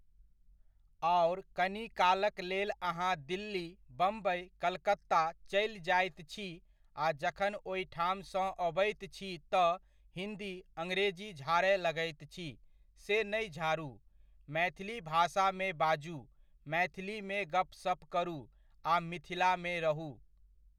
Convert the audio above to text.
आओर कनिकाल के लेल अहाँ दिल्ली, बम्बइ, कलकत्ता चलि जाइत छी, आ जखन ओहिठाम सॅं अबैत छी तऽ हिन्दी, अङ्ग्रेजी झाड़य लागैत छी से नहि झाड़ू, मैथिली भाषामे बाजू, मैथिलीमे गपसप करु आ मिथिलामे रहू।